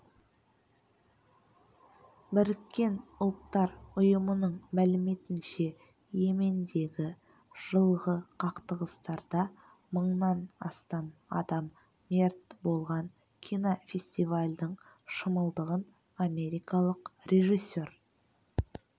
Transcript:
біріккен ұлттар ұйымының мәліметінше йемендегі жылғы қақтығыстарда мыңнан астам адам мерт болған кинофестивальдің шымылдығын америкалық режиссер